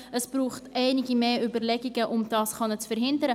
Es braucht einige zusätzliche Überlegungen, um das verhindern zu können.